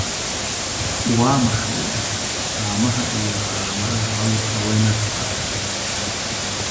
Waa maxay astamaaha iyo calaamadaha cudurka Werner's ka?